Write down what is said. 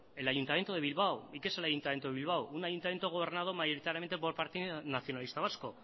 el ayuntamiento de bilbao y qué es el ayuntamiento de bilbao un ayuntamiento gobernado mayoritariamente por el partido nacionalista vasco